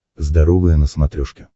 здоровое на смотрешке